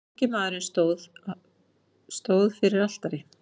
Ungi maðurinn stóð fyrir altari.